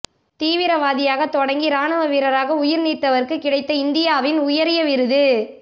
தீவிரவாதியாக தொடங்கி இராணுவ வீரராக உயிர் நீத்தவருக்கு கிடைத்த இந்தியாவின் உயரிய விருது